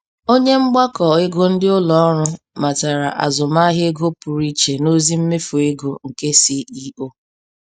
Onye mgbakọ ego ndị ụlọ ọrụ matara azụmahịa ego pụrụ iche n'ozi mmefụ ego nke CEO.